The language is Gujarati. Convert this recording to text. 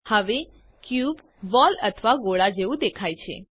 હવે ક્યુબ બોલ અથવા ગોળા જેવું દેખાય છે